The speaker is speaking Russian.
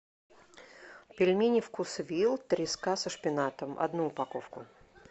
пельмени вкусвилл треска со шпинатом одну упаковку